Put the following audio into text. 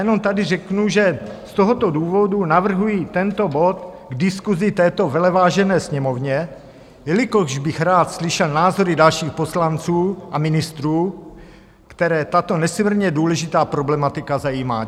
Jenom tady řeknu, že z tohoto důvodu navrhuji tento bod k diskusi této velevážené Sněmovně, jelikož bych rád slyšel názory dalších poslanců a ministrů, které tato nesmírně důležitá problematika zajímá.